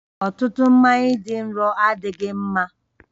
Ọtụtụ mmanya dị nro adịghị mma